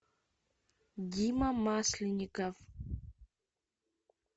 дима масленников